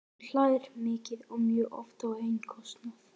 Hann hlær mikið og mjög oft á eigin kostnað.